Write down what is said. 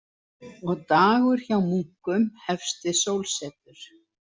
Og dagur hjá munkum hefst við sólsetur.